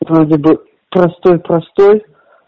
вот вроде бы простой простой